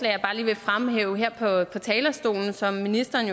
jeg bare lige vil fremhæve her på talerstolen og som ministeren